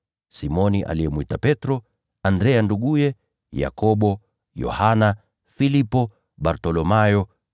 Simoni aliyemwita Petro, Andrea nduguye, Yakobo, Yohana, Filipo, Bartholomayo,